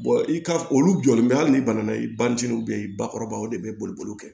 i ka olu jɔlen bɛ hali n'i bana i bantenniw bɛ yen bakɔrɔbaw de bɛ boli kɛ